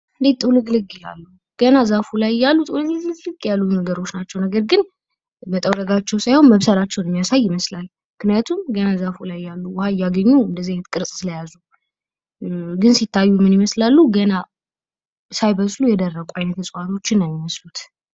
እንድህ ጥውልግልግ ይላሉ ከዛፉ ላይ ሲታዪ ግን መጠውለጋቸውም ሳይሆን መብሰላቸውን የሚያሳይ ነው።